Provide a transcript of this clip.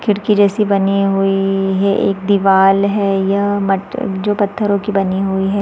खिड़की जैसी बनी हुई है एक दीवाल है यह मट जो पत्थरो की बनी हुई है।